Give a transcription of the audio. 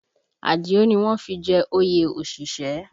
Àdìó ni wọ́n fi jẹ oyè òṣìṣẹ́